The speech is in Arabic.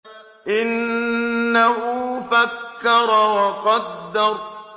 إِنَّهُ فَكَّرَ وَقَدَّرَ